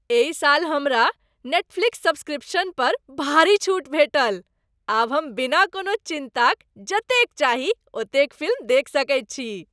एहि साल हमरा नेटफ्लिक्स सब्सक्रिप्शन पर भारी छूट भेटल। आब हम बिना कोनो चिन्ताक जतेक चाही ओतेक फिल्म देखि सकैत छी।